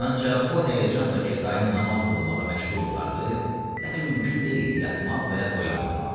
Ancaq o həyəcanla ki, dayım namaz qılmağa məşğul olardı, dəxi mümkün deyildi yatmaq və oyanmamaq.